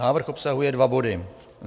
Návrh obsahuje dva body.